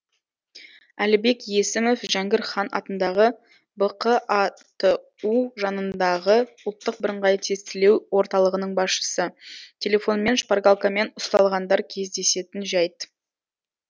әлібек есімов жәңгір хан атындағы бқату жанындағы ұлттық бірыңғай тестілеу орталығының басшысы телефонмен шпаргалкамен ұсталғандар кездесетін жайт